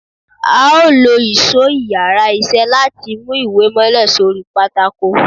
a o lo ìsó íyarà iṣẹ latí mú ìwè mòlè sorí pàtàkó